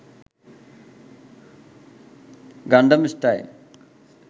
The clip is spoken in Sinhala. gangnam style